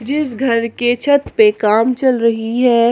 इस घर के छत पे काम चल रही है।